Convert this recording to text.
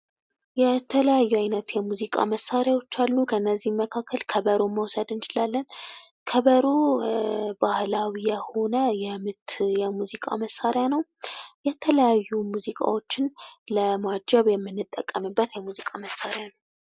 የተለያዩ አይነት የሙዚቃ መሳሪያዎች አሉ ከነዚህም መካከል ከበሮን መውሰድ እንችላለን ፤ ከበሮ ባህላዊ የሆነ የምት የሙዚቃ መሳሪያ ነው። የተለያዩ ሙዚቃዎችን ለማጀብ የምንጠቀምበት የሙዚቃ መሳሪያ ነው።